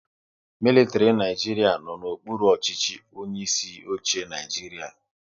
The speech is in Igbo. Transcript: Militiri Naijiria no n'okpuru ọchịchị onye isi oche Naịjiria